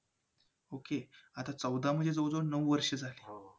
Okey. आता चौदा म्हणजे जवळजवळ नऊ वर्ष झाली.